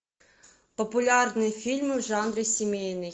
популярные фильмы в жанре семейный